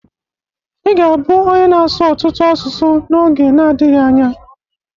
Ị ga-abụ onye na-asụ ọtụtụ asụsụ n'oge nadghị anya.